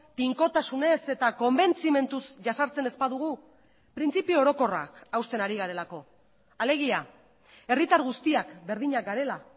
tinkotasunez eta konbentzimenduz jazartzen ez badugu printzipio orokorrak hausten ari garelako alegia herritar guztiak berdinak garela